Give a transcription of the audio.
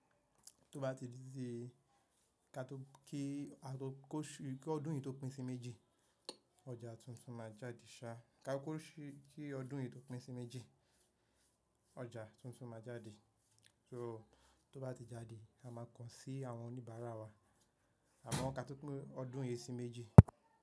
Tó bá ti di dé ká tó kí a tó kó ṣí kí ọdún yìí tó pín sí méjì, ọjà tuntun máa jáde, ṣáá ká kò ṣí kí ọdún yìí tó pín sí méjì ọjà tuntun máa jáde. So tó bá ti jáde, a máa kàn sí àwọn oníbàárà wa amọ ka tó pin ọdún yìí sí méjì.